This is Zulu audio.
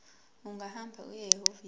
ungahamba uye ehhovisi